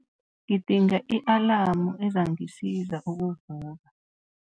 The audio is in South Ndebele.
Ngidinga i-alamu ezangisiza ukuvuka.